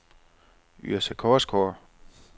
Yrsa Korsgaard